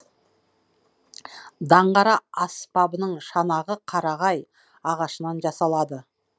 даңғара аспабының шанағы қарағай ағашынан жасалады